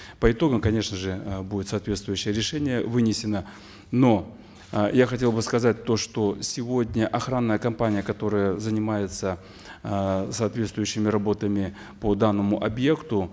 по итогам конечно же э будет соответствующее решение вынесено но э я хотел бы сказать то что сегодня охранная компания которая занимается э соответствующими работами по данному объекту